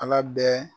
Ala bɛɛ